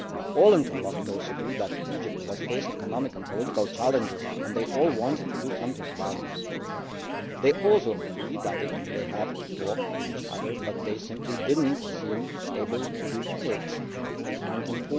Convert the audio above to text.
All interlocutors agreed that Egypt was facing economic and political challenges and they all wanted to do something about it. They also agreed that they have to talk to each other but simply did not seem able to do